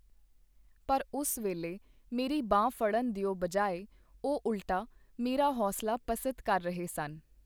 ਪਰ ਉਸ ਵੇਲੇ ਮੇਰੀ ਬਾਂਹ ਫੜਨ ਦਿਓ ਬਜਾਏ ਉਹ ਉਲਟਾ ਮੇਰਾ ਹੌਸਲਾ ਪਸਤ ਕਰ ਰਹੇ ਸਨ.